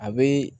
A bɛ